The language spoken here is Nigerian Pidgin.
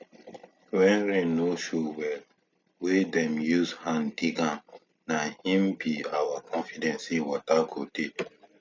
when rain no show well wey dem use hand dig na na im be our confidence say water go dey